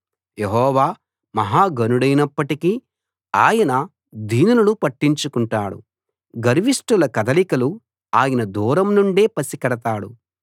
యెహోవా మహా ఘనుడైనప్పటికీ ఆయన దీనులను పట్టించుకుంటాడు గర్విష్ఠుల కదలికలు ఆయన దూరం నుండే పసికడతాడు